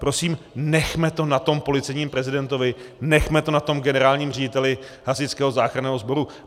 Prosím, nechme to na tom policejním prezidentovi, nechme to na tom generálním řediteli Hasičského záchranného sboru.